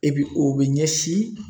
E bi o bi ɲɛsin